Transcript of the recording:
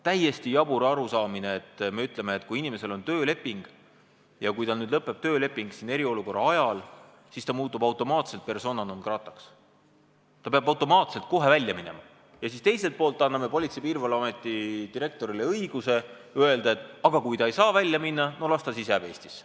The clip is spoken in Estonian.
Täiesti jabur on öelda inimesele, et kui tal on tööleping ja kui see leping eriolukorra ajal lõpeb, siis muutub ta automaatselt persona non grata'ks – ta peab automaatselt kohe välja minema –, teiselt poolt aga anname Politsei- ja Piirivalveameti direktorile õiguse öelda, et kui ta välja minna ei saa, no las ta siis jääb Eestisse.